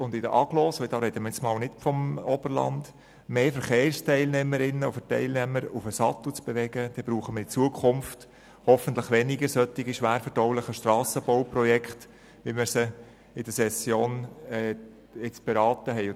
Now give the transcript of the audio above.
Wenn es uns gerade auch in den Städten und Agglomerationen gelingt, mehr Verkehrsteilnehmerinnen und -teilnehmer auf den Sattel zu bewegen, brauchen wir in der Zukunft hoffentlich weniger solch schwerverdauliche Strassenbauprojekte, wie wir sie in der jetzigen Session beraten haben.